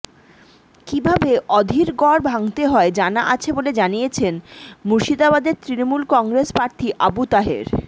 কিভাবে অধীর গড় ভাঙতে হয় জানা আছে বলে জানিয়েছেন মুর্শিদাবাদের তৃণমূল কংগ্রেস প্রার্থী আবু তাহের